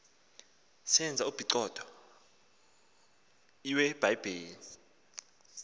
senza uphicotho iwebhayibhile